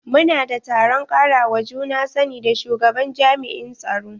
Mu na da taron karawa juna sani da shugaban jami'in tsaro.